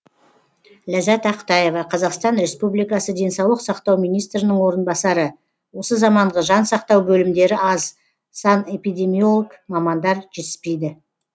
ләззат ақтаева қазақстан республикасы денсаулық сақтау министрінің орынбасары осы заманғы жан сақтау бөлімдері аз санэпемидемиолог мамандар жетіспейді